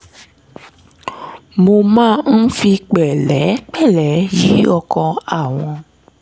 mo máa ń fi pẹ̀lẹ́pẹ̀lẹ́ yí ọkàn àwọn